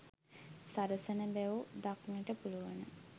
සරසන බැව් දක්නට පුළුවන.